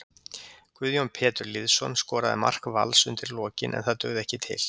Guðjón Pétur Lýðsson skoraði mark Vals undir lokin en það dugði ekki til.